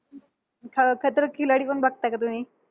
अं खतरों के खिलाडी पण बघता का तुम्ही?